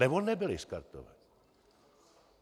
Anebo nebyly skartovány.